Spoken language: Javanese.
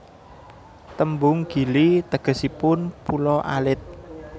Tembung Gili tegesipun pulo alit